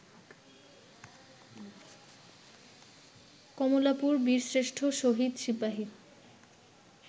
কমলাপুর বীরশ্রেষ্ঠ শহীদ সিপাহী